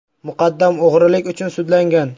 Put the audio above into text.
Muqaddam o‘g‘rilik uchun sudlangan.